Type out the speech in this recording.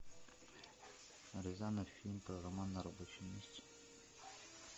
рязанов фильм про роман на рабочем месте